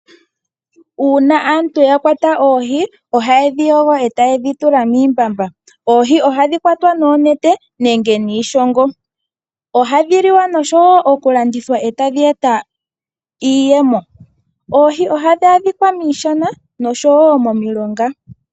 Uuna aantu ya kwata oohi, oha ye dhi yogo, e taye dhi tula miimbamba. Oohi Oha dhi kwatwa noonete, nenge niishongo. Oha dhi liwa nosho wo oku landithwa e tadhi eta iiyemo . Oohi oha dhi adhikwa miishana nosho wo momilonga .